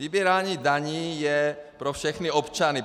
Vybírání daní je pro všechny občany.